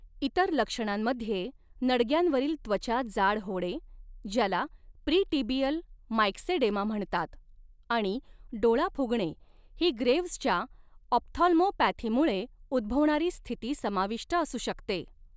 इतर लक्षणांमध्ये नडग्यांवरील त्वचा जाड होणे, ज्याला प्रीटिबियल मायक्सेडेमा म्हणतात, आणि डोळा फुगणे ही ग्रेव्हजच्या ऑप्थाल्मोपॅथीमुळे उद्भवणारी स्थिती समाविष्ट असू शकते.